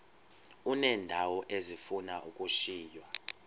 uneendawo ezifuna ukushiywa